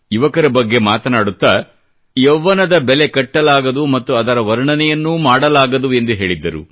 ಯುವಕರ ಬಗ್ಗೆ ಮಾತನಾಡುತ್ತಾ ಯೌವನದ ಬೆಲೆ ಕಟ್ಟಲಾಗದು ಮತ್ತು ಅದರ ವರ್ಣನೆಯನ್ನೂ ಮಾಡಲಾಗದು ಎಂದು ಹೇಳಿದ್ದರು